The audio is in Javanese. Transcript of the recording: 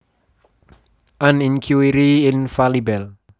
An Inquiry Infalibel